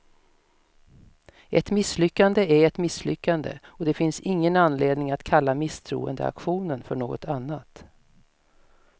Ett misslyckande är ett misslyckande, och det finns ingen anledning att kalla misstroendeaktionen för något annat.